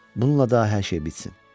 Bununla da hər şey bitsin.